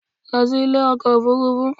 Lọ sí ilé ọkọ̀ òfurufú